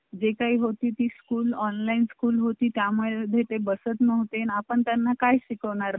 मग काय अडचणच नाही.